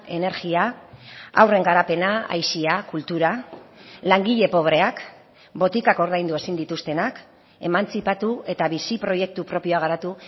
energia haurren garapena aisia kultura langile pobreak botikak ordaindu ezin dituztenak emantzipatu eta bizi proiektu propioa garatu